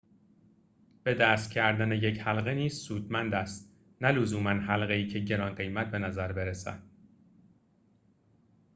به دست کردن یک حلقه نیز سودمند است نه لزوماً حلقه‌ای که گران‌قیمت بنظر برسد